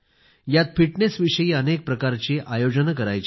यात फिटनेस विषयी अनेक प्रकारचे आयोजन करायचे आहे